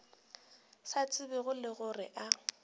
sa tsebego le gore a